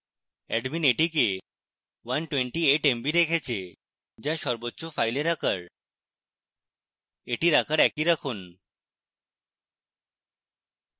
admin এটিকে 128mb রেখেছে যা সর্বোচ্চ file আকার